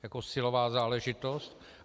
Jako silová záležitost.